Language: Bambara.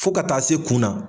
Fo ka taa se kun na